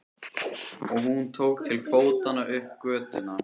Og hún tók til fótanna upp götuna.